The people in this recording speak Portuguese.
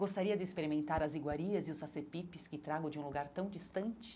Gostaria de experimentar as iguarias e os acepipes que trago de um lugar tão distante?